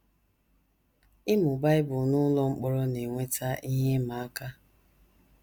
Ịmụ Bible n’ụlọ mkpọrọ na - eweta ihe ịma aka.